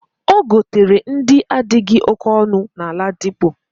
Ogotere ndi adighi oke onu na ladipo.